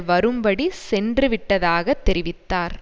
வரும்படி சென்றுவிட்டதாக தெரிவித்தார்